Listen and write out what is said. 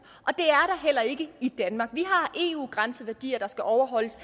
og ikke i danmark vi har eu grænseværdier der skal overholdes